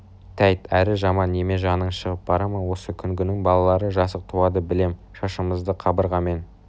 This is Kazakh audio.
тәйт әрі жаман неме жаның шығып бара ма осы күнгінің балалары жасық туады білем шашымызды қабырғамен